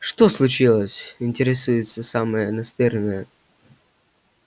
что случилось интересуется самая настырная